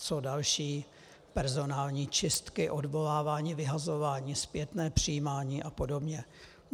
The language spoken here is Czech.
Jsou další personální čistky, odvolávání, vyhazování, zpětné přijímání a podobně.